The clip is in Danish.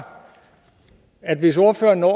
at hvis ordføreren når